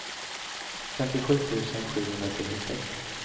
femtiosju tusen sjuhundrasextiosex